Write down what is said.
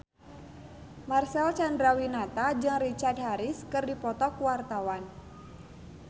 Marcel Chandrawinata jeung Richard Harris keur dipoto ku wartawan